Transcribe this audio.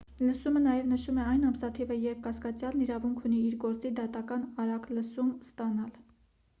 լսումը նաև նշում է այն ամսաթիվը երբ կասկածյալն իրավունք ունի իր գործի դատական արագ լսում ստանալ